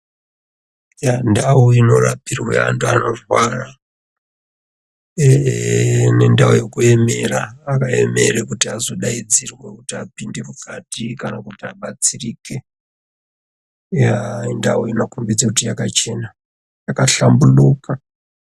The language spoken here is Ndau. Ndau inorapirwe anthu anorwara ine ndau yekuemera akaemerwa kuti azodaidzirwa kuti apinde mukati kana kuti abatsirike yaa ndau inokombidza kuti yakachena yakahlamburuka.